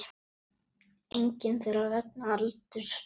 Engin þeirra vegna aldurs.